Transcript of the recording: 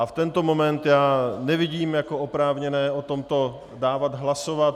A v tento moment já nevidím jako oprávněné o tomto dávat hlasovat.